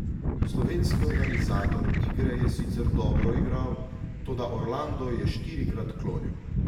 Slovenski organizator igre je sicer dobro igral, toda Orlando je štirikrat klonil.